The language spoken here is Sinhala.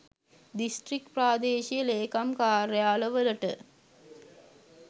දිස්ත්‍රික් ප්‍රාදේශීය ලේකම් කාර්යාල වලට